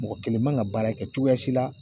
Mɔgɔ kelen man ga baara kɛ cogoya si la